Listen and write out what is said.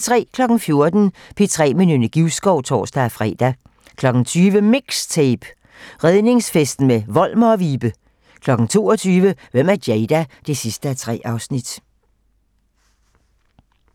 14:00: P3 med Nynne Givskov (tor-fre) 20:00: MIXTAPE - Redningsfesten med Volmer & Vibe 22:00: Hvem er Jada? 3:3